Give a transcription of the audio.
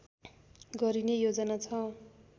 गरिने योजना छ